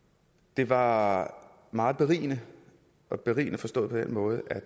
det var meget berigende berigende forstået på den måde at